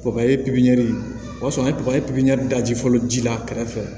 Kɔkɔyi pipiniyɛri o y'a sɔrɔ an ye kɔkɔli pipiniyɛri da ji fɔlɔ ji la kɛrɛfɛ